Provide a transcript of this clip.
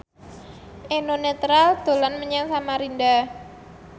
Eno Netral dolan menyang Samarinda